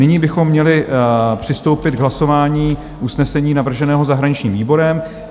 Nyní bychom měli přistoupit k hlasování usnesení navrženém zahraničním výborem.